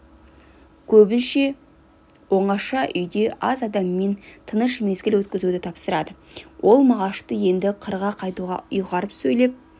көбінше оңаша үйде аз адаммен тыныш мезгіл өткізуді тапсырады ол мағашты енді қырға қайтуға ұйғарып сөйлеп